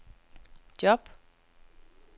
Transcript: job